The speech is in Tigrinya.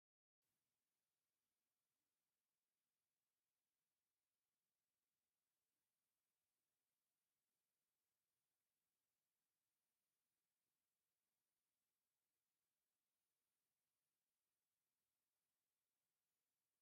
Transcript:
ብመጠንን ብዓይነትን ዝተፈላለዩ ዓይነታት ሶፍትታት ይርአዩ ኣለዉ፡፡ ሶፍት ንንፅህና ኣዝዩ ኣገዳሲ ብምዃኑ ኣነ እውን ኣብ ገዛይ ነዚ ክጥቀም ድሌት ኣለኒ፡፡